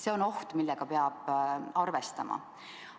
See on oht, millega peab arvestama.